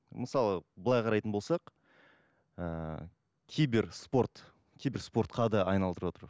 мысалы былай қарайтын болсақ ыыы кибер спорт кибер спортқа да айналдырып отыр